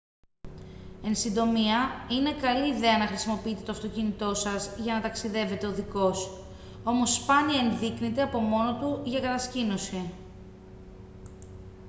εν συντομία είναι καλή ιδέα να χρησιμοποιείτε το αυτοκίνητό σας για να ταξιδεύετε οδικώς όμως σπάνια ενδείκνυται από μόνο του για κατασκήνωση